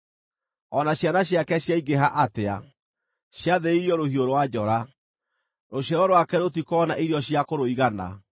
O na ciana ciake ciaingĩha atĩa, ciathĩrĩirio rũhiũ rwa njora; rũciaro rwake rũtikoona irio cia kũrũigana.